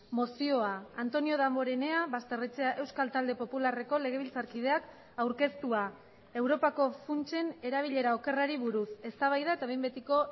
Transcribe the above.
mozioa antonio damborenea basterrechea euskal talde popularreko legebiltzarkideak aurkeztua europako funtsen erabilera okerrari buruz eztabaida eta behin betiko